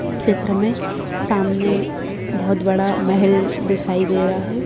चित्र में सामने बहुत बड़ा महल दिखाई दे रहा है।